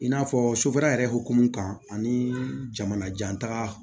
I n'a fɔ sofɛrɛne hokumu kan ani jamana janta